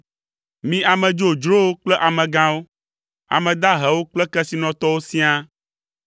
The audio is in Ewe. mi ame dzodzrowo kple amegãwo, ame dahewo kple kesinɔtɔwo siaa.